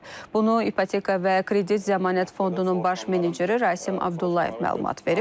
Bunu İpoteka və Kredit Zəmanət Fondunun baş meneceri Rasim Abdullayev məlumat verib.